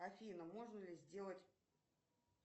афина можно ли сделать